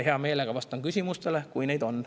Hea meelega vastan küsimustele, kui neid on.